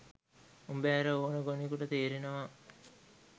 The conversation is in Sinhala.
උඹ ඇර ඕන ගොනෙකුට තේරෙනවා.